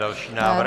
Další návrh.